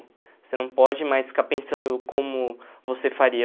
Você não pode mais ficar pensando como você faria.